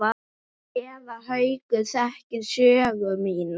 Séra Haukur þekkir sögu mína.